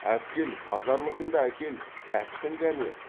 әпкел базарлығыңды әкел тәттің кәні